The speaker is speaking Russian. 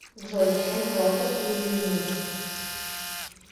джой чем платят у йеменцев